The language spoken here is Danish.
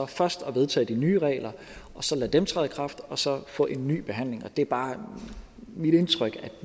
først at vedtage de nye regler og så lade dem træde i kraft og så få en ny behandling det er bare mit indtryk at